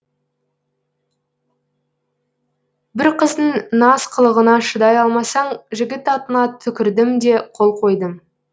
бір қыздың наз қылығына шыдай алмасаң жігіт атыңа түкірдім де қол қойдым